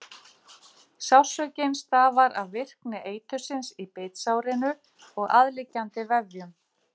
Sársaukinn stafar af virkni eitursins í bitsárinu og aðliggjandi vefjum.